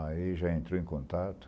Aí já entrou em contato.